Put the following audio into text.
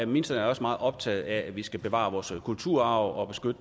ministeren er også meget optaget af at vi skal bevare vores kulturarv og